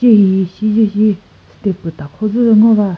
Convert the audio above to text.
che hihi shiche shi step püh takhozü ngo va.